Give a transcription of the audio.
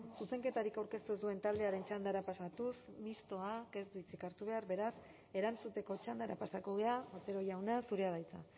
zuzenketarik aurkeztu ez duen taldearen txandara pasatuz mistoak ez du hitzik hartu behar beraz erantzuteko txandara pasako gara otero jauna zurea da hitza